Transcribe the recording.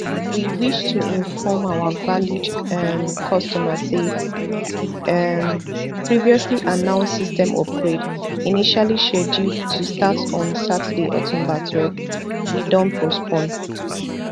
we wish to inform our valued um customer say di um previously announced system upgrade initially scheduled to start on saturday october twelve we don postpone